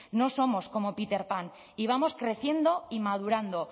no somos como peter pan y vamos creciendo y madurando